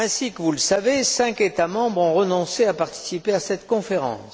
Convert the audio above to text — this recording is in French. Comme vous le savez, cinq États membres ont renoncé à participer à cette conférence.